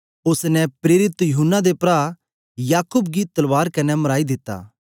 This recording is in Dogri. ओसने प्रेरित यूहन्ना दे प्रा याकूब गी तलवार कन्ने मराई दित्ता